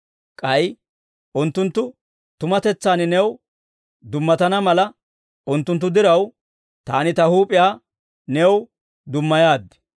k'ay unttunttu tumatetsaan new dummatana mala, unttunttu diraw, Taani Ta huup'iyaa new dummayaad.